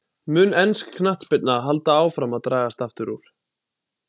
Mun ensk knattspyrna halda áfram að dragast aftur úr?